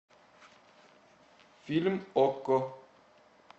фильм окко